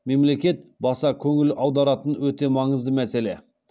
мемлекет баса көңіл аударатын өте маңызды мәселе